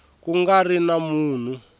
ku nga ri na munhu